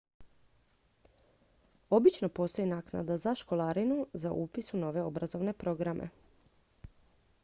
obično postoji naknada za školarinu za upis u ove obrazovne programe